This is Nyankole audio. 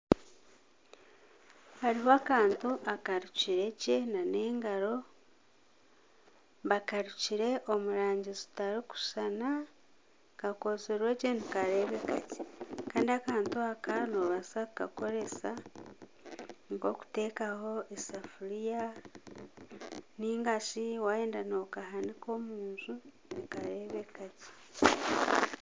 Hariho akantu akarukiregye n'engaro bakarukire omu rangi zitarikushushana kakozirwe gye nikareebeka gye kandi akantu aka nobaasa kukakoresa nka okutekaho esafuuriya nigashi wayenda nokahanika omunju nikareebeka gye.